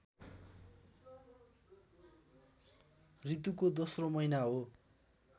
ऋतुको दोस्रो महिना हो